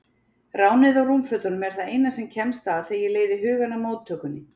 Ránið á rúmfötunum er það eina sem kemst að þegar ég leiði hugann að móttökunni.